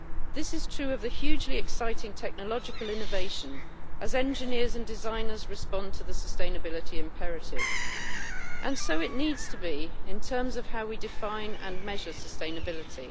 This is true of the hugely exciting technological innovation as engineers and designers respond to the sustainability imperative, and so it needs to be in terms of how we define and measure sustainability.